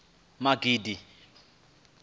magidi